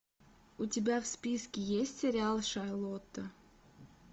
у тебя в списке есть сериал шарлотта